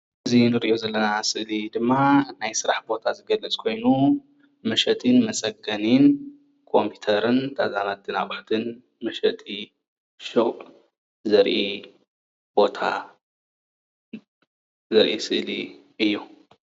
እዚ እንርእዮ ዘለና ስእሊ ድማ ናይ ስራሕ ቦታ ዝገልጽ ኮይኑ መሸጥን መጸገንን ኮምፕዩተርን ነገራትን ኣቁሑትን መሸጢ ሹቅ ዘርኢ ቦታ ዘሪኢ ምስሊ እዩ ።